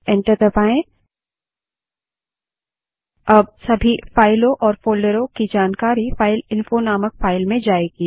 अब सभी फाइलों और फोल्डरों की जानकारी फाइलइंफो नामक फाइल में जायेगी